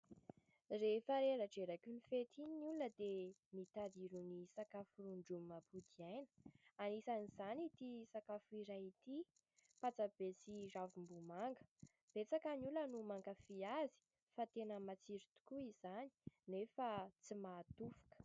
rehefa reraderaky ny fehitiny ny olona dia mitadirony sakafo rondromapoky aina anisan'izany ity sakafo iray ity mpatsabesy ravom-bomanga betsaka ny olona no mankafia azy fa tena matsiry tokoa izany nefa tsy mahatofoka